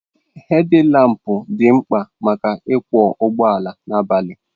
Hedilampụ dị mkpa maka ịkwọ ụgbọala abalị